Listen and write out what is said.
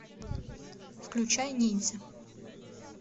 включай ниндзя